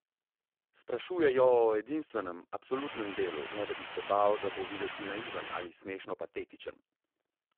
Sprašuje jo o edinstvenem, absolutnem delu, ne da bi se bal, da bo videti naiven ali smešno patetičen.